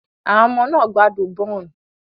Àwọn ọmọ náà gbádùn bún.